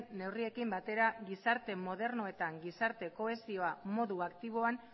neurriekin batera gizarte moderno eta gizarte kohesioa modu aktiboan